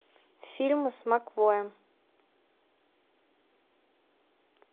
фильмы с макэвоем